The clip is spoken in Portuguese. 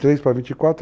23 para 24.